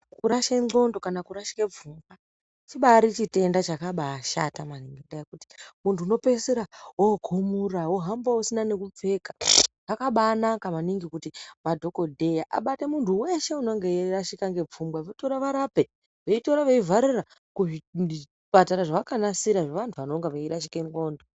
Kurashike ndxondo kana kurashike pfungwa chibaari chitenda chakabaashata maningi, ngekuti munhu unopeisira wokhumura wohamba usina nekupfeka. Zvakabaanaka maningi kuti madhokodheya kuti abate muntu weshe unonge eirashika ngepfungwa vavarape veitorwa veivharira kuzvipatara zvavakanasira zvevantu vanonga veirashike ndxondo.